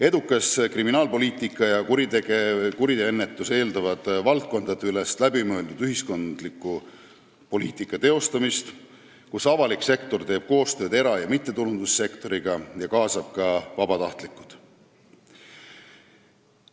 Edukas kriminaalpoliitika ja kuriteoennetus eeldavad valdkondadeülest läbimõeldud ühiskondlikku poliitikat, kus avalik sektor teeb koostööd era- ja mittetulundussektoriga ning kaasab ka vabatahtlikke.